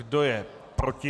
Kdo je proti?